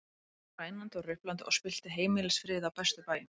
Hann fór rænandi og ruplandi og spillti heimilisfriði á bestu bæjum.